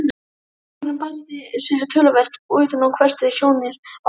Túlkurinn barði sig töluvert utan og hvessti sjónir á Bretann.